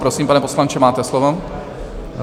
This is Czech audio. Prosím, pane poslanče, máte slovo.